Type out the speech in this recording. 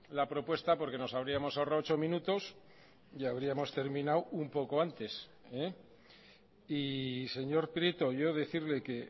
la propuesta porque nos habríamos ahorrado ocho minutos y habríamos terminado un poco antes y señor prieto yo decirle que